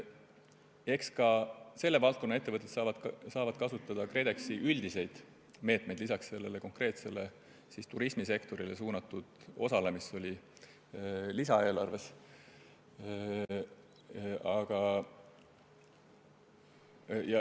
Eks selle valdkonna ettevõtted saavad kasutada ka KredExi üldiseid meetmeid lisaks sellele konkreetselt turismisektorile suunatud osale, mis oli lisaeelarves.